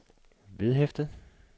vedhæftet